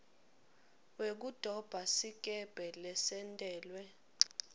wekudoba sikebhe lesentelwe